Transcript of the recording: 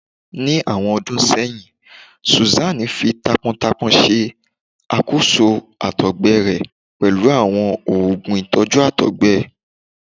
Ni awọn ọdun sẹyin, Susan fi taápọntaápọn ṣe àkóso àtọ̀gbẹ rẹ̀ pẹ̀lú àwọn oogun ìtọ́jú àtọ̀gbẹ